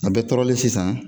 A bɛɔ tɔrɔlen sisan